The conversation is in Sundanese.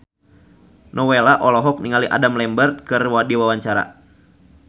Nowela olohok ningali Adam Lambert keur diwawancara